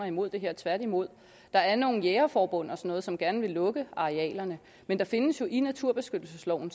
imod det her tværtimod der er nogle jægerforbund og noget som gerne vil lukke arealerne men der findes jo i naturbeskyttelsesloven